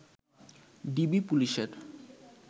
DB পুলিশের